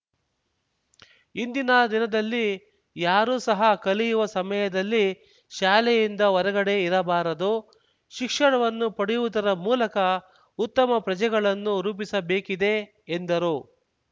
ಇಂದಿನ ದಿನದಲ್ಲಿ ಯಾರು ಸಹ ಕಲಿಯುವ ಸಮಯದಲ್ಲಿ ಶಾಲೆಯಿಂದ ಹೊರಗಡೆ ಇರಬಾರದು ಶಿಕ್ಷಣವನ್ನು ಪಡೆಯುವುದರ ಮೂಲಕ ಉತ್ತಮ ಪ್ರಜೆಗಳನ್ನು ರೂಪಿಸಬೇಕಿದೆ ಎಂದರು